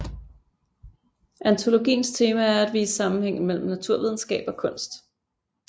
Antologiens tema er at vise sammenhænge mellem naturvidenskab og kunst